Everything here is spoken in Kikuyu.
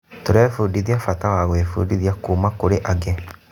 Tũrebundithia bata wa gwĩbundithia kuuma kũrĩ angĩ.